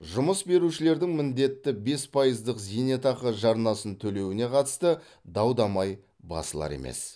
жұмыс берушілердің міндетті бес пайыздық зейнетақы жарнасын төлеуіне қатысты дау дамай басылар емес